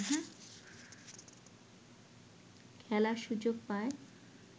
খেলার সুযোগ পায়